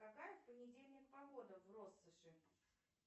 какая в понедельник погода в россоши